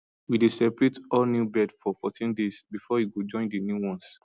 we dey separate all new bird for fourteen days before e go join the main ones